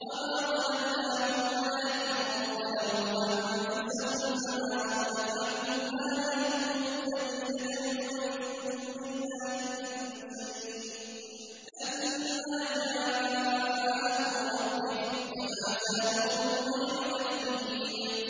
وَمَا ظَلَمْنَاهُمْ وَلَٰكِن ظَلَمُوا أَنفُسَهُمْ ۖ فَمَا أَغْنَتْ عَنْهُمْ آلِهَتُهُمُ الَّتِي يَدْعُونَ مِن دُونِ اللَّهِ مِن شَيْءٍ لَّمَّا جَاءَ أَمْرُ رَبِّكَ ۖ وَمَا زَادُوهُمْ غَيْرَ تَتْبِيبٍ